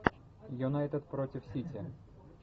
юнайтед против сити